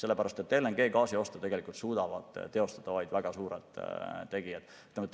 LNG‑d suudavad tegelikult osta vaid väga suured tegijad.